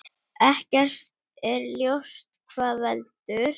Ekki er ljóst hvað veldur.